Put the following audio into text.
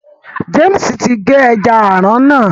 James tí n ge ẹja aràn náà.